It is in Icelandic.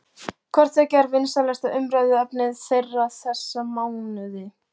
Hvort tveggja er vinsælasta umræðuefni þeirra þessa mánuði.